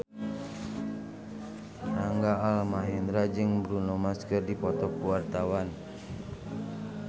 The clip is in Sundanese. Rangga Almahendra jeung Bruno Mars keur dipoto ku wartawan